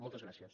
moltes gràcies